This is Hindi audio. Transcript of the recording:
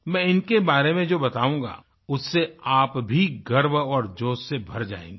मैं इनके बारे में जो बताऊंगा उससे आप भी गर्व और जोश से भर जायेंगे